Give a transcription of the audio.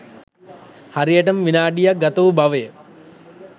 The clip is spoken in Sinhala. හරියටම විනාඩික් ගත වූ බවය